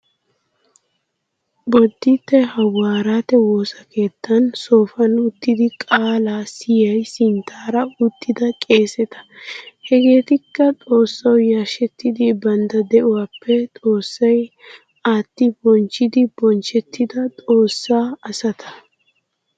Bodditte hawaaretu woosakeettan soofan uttidi qaalan siyiya sinttaara uttida qeeseta. Hageetikka xoossawu yarshshettidi bantta de'uwaappe xoossay aatti bonchchida bonchchettida xoossa asata.